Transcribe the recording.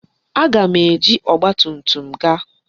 Aga m eji ọgba tum tum gaa.